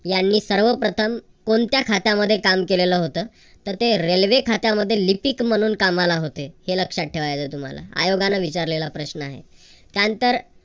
यांनी सर्वप्रथम कोणत्या खात्यामध्ये काम केलेलं होतं. तर ते रेल्वे खात्यामध्ये लिपिक म्हणून कामाला होते. हे लक्षात ठेवायचय तुम्हाला आयोगान विचारला प्रश्न आहे. त्यानंतर